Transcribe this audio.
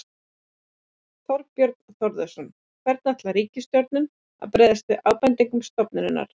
Þorbjörn Þórðarson: Hvernig ætlar ríkisstjórnin að bregðast við ábendingum stofnunarinnar?